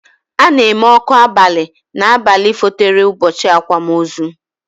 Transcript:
Ana eme ọkụ abali na abalị fotere ụbọchị akwamozu